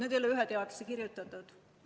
Need ei ole ühe teadlase kirjutatud.